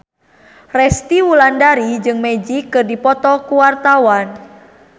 Resty Wulandari jeung Magic keur dipoto ku wartawan